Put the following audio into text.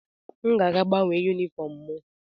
M ga-aga gbanwee yunifọọm m.